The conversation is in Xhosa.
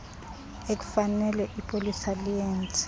ekufanele ipolisa liyenze